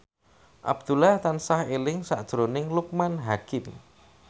Abdullah tansah eling sakjroning Loekman Hakim